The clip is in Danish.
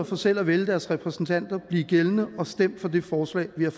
for selv at vælge deres repræsentanter blive gældende og stem for det forslag vi har